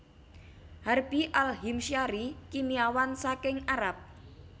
Harbi Al Himsyari kimiawan saking Arab